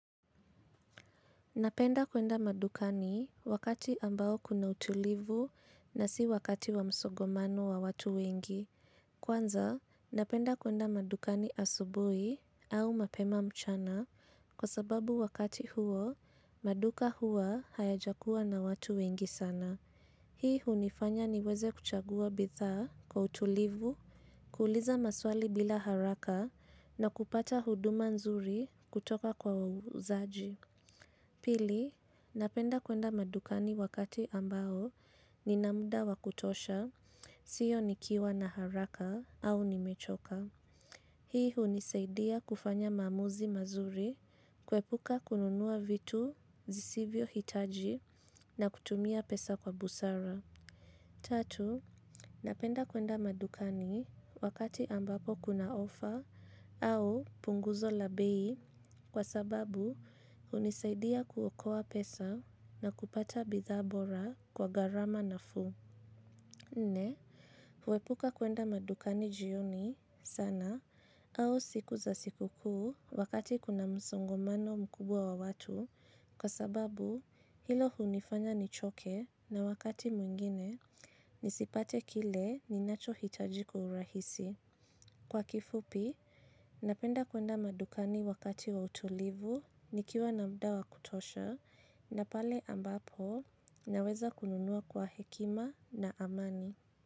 Napenda kwenda madukani wakati ambao kuna utulivu na si wakati wa msogomano wa watu wengi. Kwanza, napenda kwenda madukani asubui au mapema mchana kwa sababu wakati huo, maduka hua haya jakuwa na watu wengi sana. Hii hunifanya niweze kuchagua bitha kwa utulivu, kuuliza maswali bila haraka na kupata huduma nzuri kutoka kwa wauzaji. Pili, napenda kwenda madukani wakati ambaho ninamda wakutosha, sio nikiwa na haraka au nimechoka. Hii hunisaidia kufanya mamuzi mazuri, kwepuka kununua vitu zisivyo hitaji na kutumia pesa kwa busara. Tatu, napenda kwenda madukani wakati ambapo kuna ofa au punguzo labei kwa sababu unisaidia kuokoa pesa na kupata bitha bora kwa garama na fu. Nne kwepuka kwenda madukani jioni sana au siku za siku kuu wakati kuna msongamano mkubwa wa watu kwa sababu hilo hunifanya nichoke na wakati mwengine nisipate kile ninachoitaji kwa urahisi. Kwa kifupi, napenda kuenda madukani wakati wa utulivu nikiwa namdawa kutosha na pale ambapo naweza kununua kwa hekima na amani.